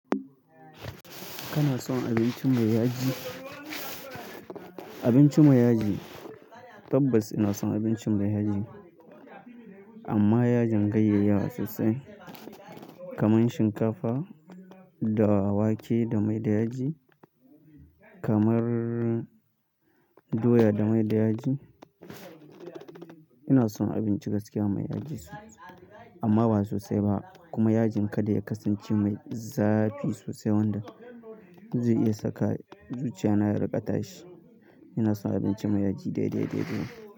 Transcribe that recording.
Kana son abincin mai yaji? Abinci mai yaji tabbas ina son abinci mai yaji. Amma yajin ganyeyiyawa sosai kamar shinkafa da wake da mai da yaji, kamar doya da mai da yaji. Ina son abinci gaskiya mai yaji sosai amma ba sosai ba kuma yajin kada ya kasance mai zafi sosai wanda zai iya saka zuciya na ya rikata shi. Ina son abinci mai yaji daidai dai dai.